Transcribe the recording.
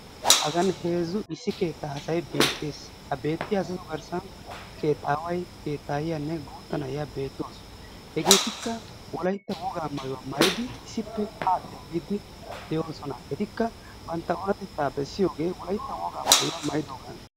Hagan heezzu issi keettaa asay beettes. Ha beettiya asatu garssan keettaaway, keettaayyiyanne guutta na'iya beettawus. Hegeettikka wolaytta wogaa maayuwa maayidi issippe haa xeellidi de"oosona. Etikka bantta oonatetta bessiyooge wolaytta wogaa maayuwa maayidoogaana.